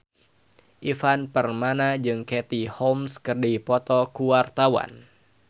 Ivan Permana jeung Katie Holmes keur dipoto ku wartawan